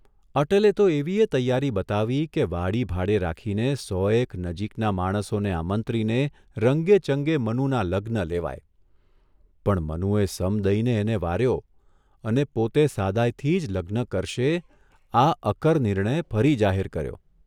અટલે તો એવીયે તૈયારી બતાવી કે વાડી ભાડે રાખીને સોએક નજીકનાં માણસોને આમંત્રીને રંગેચંગે મનુના લગ્ન લેવાય, પણ મનુએ સમ દઇને એને વાર્યો અને પોતે સાદાઇથી જ લગ્ન કરશે આ અકર નિર્ણય ફરી જાહેર કર્યો.